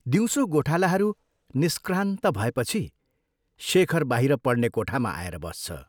दिउँसो गोठालाहरू निष्क्रान्त भएपछि शेखर बाहिर पढ्ने कोठामा आएर बस्छ।